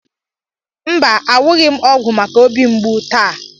Mba, awughi m ọgwụ maka obi mgbu taa.